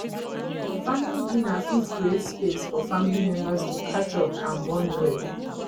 family dinner fit create space for family members to catch up and bond well